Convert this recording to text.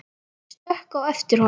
Ég stökk á eftir honum.